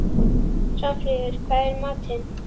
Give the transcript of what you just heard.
Svanfríður, hvað er í matinn?